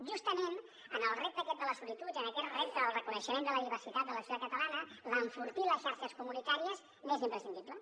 justament en el repte aquest de la solitud i en aquest repte del reconeixement de la diversitat de la societat catalana l’enfortir les xarxes comunitàries és imprescindible